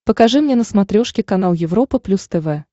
покажи мне на смотрешке канал европа плюс тв